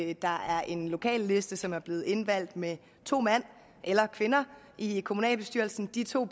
at der er en lokalliste som er blevet indvalgt med to mænd eller kvinder i kommunalbestyrelsen og de to